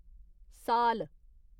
साल